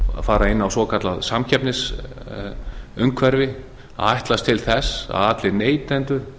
fara inn á svo kallað samkeppnisumhverfi að ætlast til þess að allir neytendur